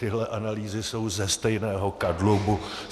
Tyhle analýzy jsou ze stejného kadlubu.